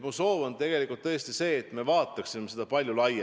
Mu soov on tegelikult tõesti vaadata seda palju laiemalt.